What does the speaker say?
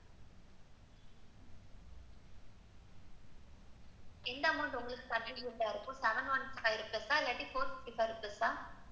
எந்த amount உங்களுக்கு convenient இருக்கும்? seven one five pluse? இல்லாட்டி four fifty five plus?